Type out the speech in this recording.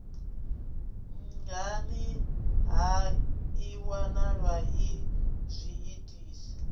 nhani ha iwalwa ii zwiitisi